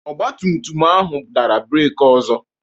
ọgbatumtum ahụ dara breeki ọzọ